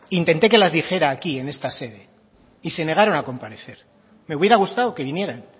intenté que las dijera aquí en esta sede y se negaron a comparecer me hubiera gustado que vinieran